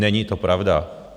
Není to pravda.